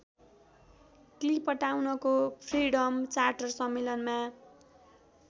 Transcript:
क्लिपटाउनको freedom charter सम्मेलनमा